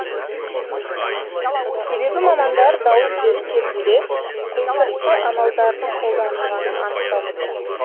себебі мамандар дауыс беру кезінде құйтырқы амалдардың қолданылғанын анықтап отыр